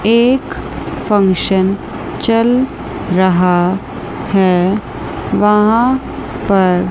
एक फंक्शन चल रहा है वहां पर।